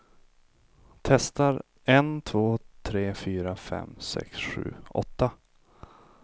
Testar en två tre fyra fem sex sju åtta.